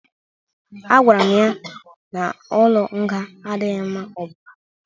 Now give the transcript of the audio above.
A gwara m ya n'ụlọ nga adịghị ma ọ bụba